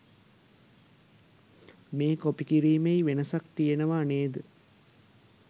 මේ කොපි කිරීමෙයි වෙනසක් තියෙනවා නේද.?